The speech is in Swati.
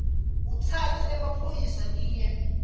utsatse emaphoyisa niye